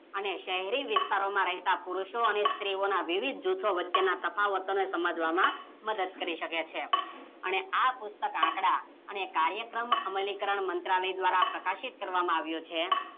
અને સેહરી વિસ્તારમાં રહેતા પુરુસો અને સ્ત્રીઓના વિવિધ જૂથો વચ્ચેના તફાવતને સમજવામાં મદદ કરી શકે છે અને પુસ્તક આંકડા અને કરાયક્રમ અમલીકરણ મંત્રાલય દ્વારા પ્રકાશિત કરવામાં આવ્યો છે